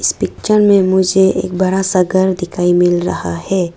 इस पिक्चर में मुझे एक बड़ा सा घर दिखाई मिल रहा है।